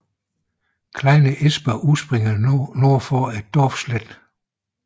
Kleine Ysper udspringer nord for Dorfstetten